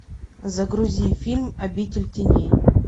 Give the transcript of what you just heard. загрузи фильм обитель теней